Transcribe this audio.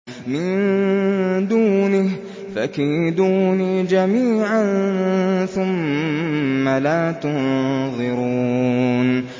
مِن دُونِهِ ۖ فَكِيدُونِي جَمِيعًا ثُمَّ لَا تُنظِرُونِ